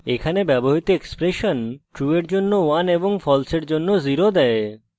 এখানে ব্যবহৃত expression true এর জন্য 1 এবং false এর জন্য 0 দেয়